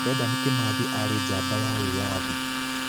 Dedan Kimathi aarĩ njamba ya wĩyathi.